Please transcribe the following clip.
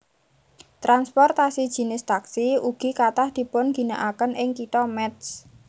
Transportasi jinis taksi ugi kathah dipunginakaken ing Kitha Métz